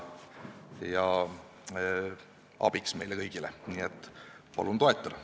Nii et palun teda toetada!